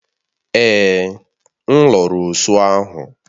Èè, m lụrụ osụ ahu